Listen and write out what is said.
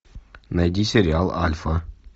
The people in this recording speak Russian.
найди сериал альфа